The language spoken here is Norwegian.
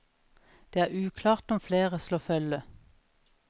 Det er uklart om flere slår følge.